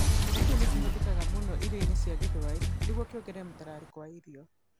Kĩmera kĩu nĩ kĩhũthĩkaga mũno irio-inĩ cia Gĩthwaĩri nĩguo kĩongerere mũtararĩko wa irio.